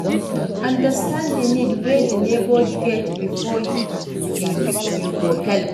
Understand di need wey di neighbour get before you go help